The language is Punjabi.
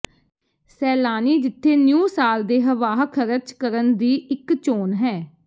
ਸੈਲਾਨੀ ਜਿੱਥੇ ਨਿਊ ਸਾਲ ਦੇ ਹੱਵਾਹ ਖਰਚ ਕਰਨ ਦੀ ਇੱਕ ਚੋਣ ਹੈ